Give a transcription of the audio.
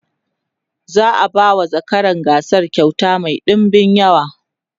za'a ba zakarar gasar kyauta Mai ɗinbin yawa